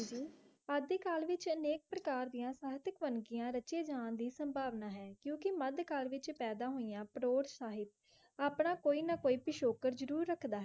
ਹੇਠ ਦੀ call ਵਿਚ ਨਾਇਕ ਪ੍ਰਕਾਰ ਦੀਆ ਸਾਹਿਕਤਾ ਬਾਨੀ ਰਚੀ ਜਾਨ ਦੀ ਦਿਸ ਸੁਨ੍ਬਾਲਣਾ ਹੈ ਕ ਕ ਮਾਰਦ ਕਾਰ ਵਿਚ ਪਾਯਦਾ ਹੋਯਾਂ ਪਾਟਰ ਸਾਹਿਬ ਆਪਣਾ ਕੋਈ ਨਾ ਕੋਈ ਤੇ ਸ਼ੋਕੇਰ ਜਰੂਰ ਰਾਕ ਦਾ